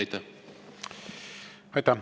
Aitäh!